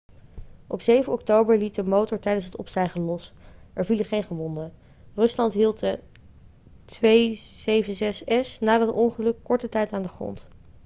op 7 oktober liet de motor tijdens het opstijgen los er vielen geen gewonden rusland hield de il-76s na dat ongeluk korte tijd aan de grond